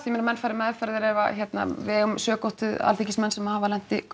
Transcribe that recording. að menn fara í meðferð ef við eigum sökótt við Alþingismenn sem hafa